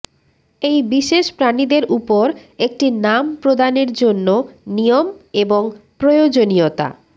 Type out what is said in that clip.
এই বিশেষ প্রাণীদের উপর একটি নাম প্রদানের জন্য নিয়ম এবং প্রয়োজনীয়তা